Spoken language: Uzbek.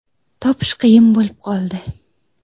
Topish qiyin bo‘lib qoldi.